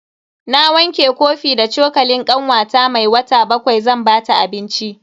Na wanke kofi da cokalin kanwata mai wata bakwai zan bata abinci.